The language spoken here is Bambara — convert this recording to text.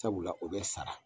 Sabula o bɛ sara